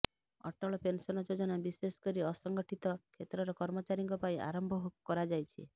Atal pension Yojana ବିଶେଷ କରି ଅସଂଗଠିତ କ୍ଷେତ୍ରର କର୍ମଚାରୀଙ୍କ ପାଇଁ ଆରମ୍ଭ କରାଯାଇଛି